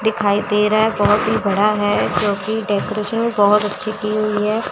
दिखाई दे रहा है बहोत ही बड़ा है जोकि डेकोरेशन बहोत अच्छी की हुई है।